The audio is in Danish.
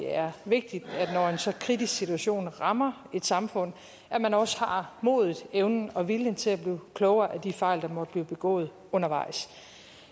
er vigtigt når en så kritisk situation rammer et samfund at man også har modet evnen og viljen til at blive klogere af de fejl der måtte blive begået undervejs